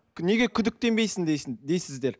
неге күдіктенбейсің дейсің дейсіздер